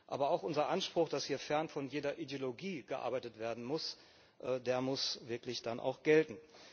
Aber auch unser Anspruch, dass hier fern von jeder Ideologie gearbeitet werden muss, muss dann wirklich auch gelten.